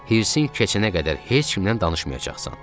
Hirsin keçənə qədər heç kimlə danışmayacaqsan.